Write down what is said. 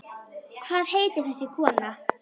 Hvað heitir þessi kona?